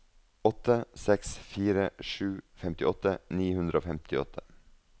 åtte seks fire sju femtiåtte ni hundre og femtiåtte